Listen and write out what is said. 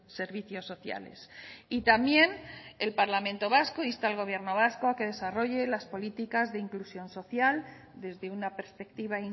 servicios sociales y también el parlamento vasco insta al gobierno vasco a que desarrolle las políticas de inclusión social desde una perspectiva